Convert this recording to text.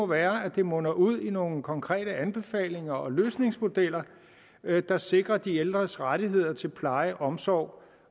være at det munder ud i nogle konkrete anbefalinger og løsningsmodeller der sikrer de ældres rettigheder til pleje omsorg